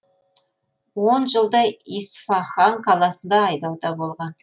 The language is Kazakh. он жылдай исфахан қаласында айдауда болған